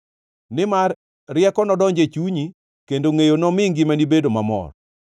Nimar rieko nodonj e chunyi, kendo ngʼeyo nomi ngimani bedo mamor.